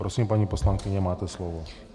Prosím, paní poslankyně, máte slovo.